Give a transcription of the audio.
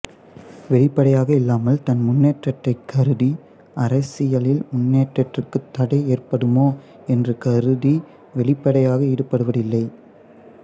வெளிப்படையாக இல்லாமல் தன் முன்னேற்றத்தை கருதி அரசியலில் முன்னேற்றத்திற்குத் தடை ஏற்படுமோ என்று கருதி வெளிப்படையாக ஈடுபடுவதில்லை